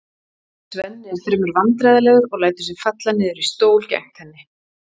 Svenni er fremur vandræðalegur og lætur sig falla niður í stól gegnt henni.